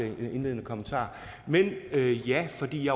i min indledende kommentar men ja fordi